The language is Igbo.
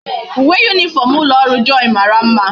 Uwe uniform ulo oru joy mara mma